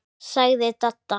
sagði Dadda.